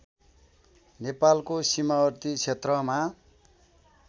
नेपालको सिमावर्ती क्षेत्रमा